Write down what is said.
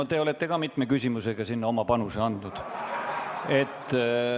No te ise olete ka mitme küsimusega sellesse oma panuse andnud.